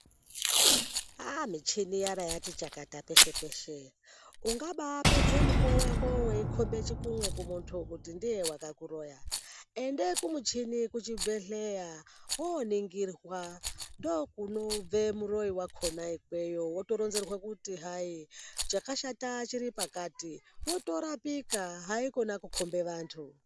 Aah michini yarati chakata peshe peshe ungaba pedze mukuwo wako weikombe chikunwe kuti muntu ndiye wakakuroya ende kumuchini kuchibhehleya woningirwa ndokunobve muroyi wakona ikweyo wotoronzerwe kuti hayi chakashata chiri pakati wotorapika haikona kukombe vantu.